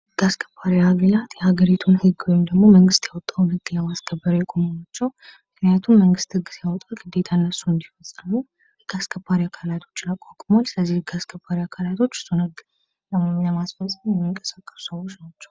ሕግ አስከባሪ አካላት ሀገሪቱ የምታወጣውን ወይም መንግስት ያወጣውን ህግ ለማስከበር የቆመው ናቸው። ምክንያቱም መንግስት ህግ ያወጣ ግዴታ እነሱ እንዲፈጽሙ ግዴታ ህግ አስከባሪ አካላትን አቋቁሟል ።ሕግ አስከባሪ አካላት እሱን ሕግ ለማስከበር የሚንቀሳቀሱት ሰዎች ናቸው።